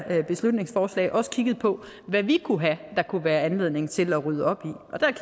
beslutningsforslag også har kigget på hvad vi kunne have der kunne være anledning til at rydde op